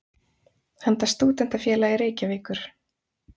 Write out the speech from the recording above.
handa Stúdentafélagi Reykjavíkur.